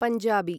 Punjabi